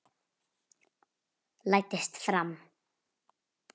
Læddist fram.